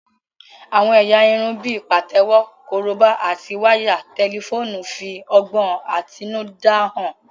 Àwọn ẹ̀yà irun bíi pàtẹ́wọ́, korobá, àti wáyà tẹlifóònù ń fi ọgbọ́n àtinúdá hàn